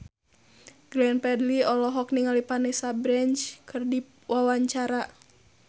Glenn Fredly olohok ningali Vanessa Branch keur diwawancara